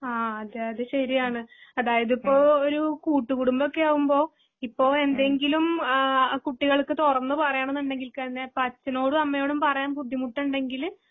ആ അതെയതെ ശരിയാണ്. അതായതിപ്പോ ഒരു കൂട്ടുകൂടുംബക്കെയാകുമ്പോ ഇപ്പൊയെന്തെങ്കിലും ആഹ് കുട്ടികൾക്ക് തുറന്നുപറയണംന്നുണ്ടെങ്കിൽകന്നെ ഇപ്പഅച്ഛനോടുംഅമ്മയോടുംപറയാൻബുദ്ധിമുട്ടുടെങ്കില്